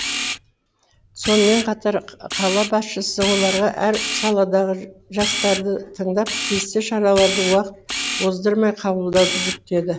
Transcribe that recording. сонымен қатар қала басшысы оларға әр саладағы жастарды тыңдап тиісті шараларды уақыт оздырмай қабылдауды жүктеді